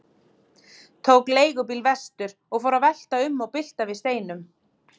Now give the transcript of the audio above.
Tók leigubíl vestur og fór að velta um og bylta við steinum.